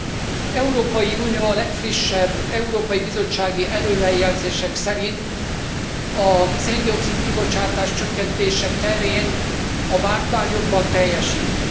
Az Európai Unió a legfrissebb Európai Bizottsági előrejelzések szerint a szén dioxid kibocsátás csökkentése terén a vártnál jobban teljesít.